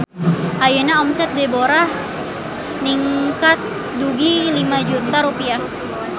Ayeuna omset Deborah ningkat dugi ka 5 juta rupiah